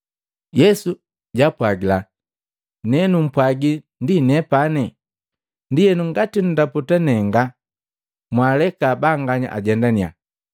Yesu japwaagila, “Ne numpwagi ndi nepani. Ndienu ngati nndaputa nenga, mwaaleka banganya ajendannya.”